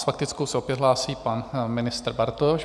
S faktickou se opět hlásí pan ministr Bartoš.